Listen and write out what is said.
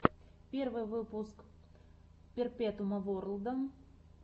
первый выпуск перпетуума ворлда